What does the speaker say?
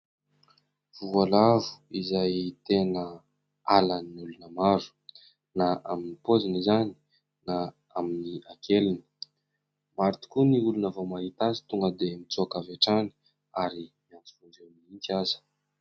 Voalavo izay tena halan'ny olona maro na amin'ny paoziny izany na amin'ny hakeliny. Maro tokoa ny olona vao mahita azy tonga dia mitsoaka avy hatrany ary miantso vonjeo mihitsy aza.